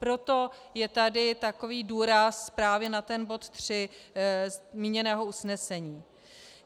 Proto je tady takový důraz právě na ten bod tři zmíněného usnesení.